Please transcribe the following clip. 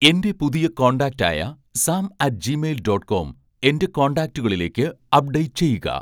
എന്റെ പുതിയ കോൺടാക്റ്റായ Sam at Gmail dot com എന്റെ കോൺടാക്റ്റുകളിലേക്ക് അപ്ഡേറ്റ് ചെയ്യുക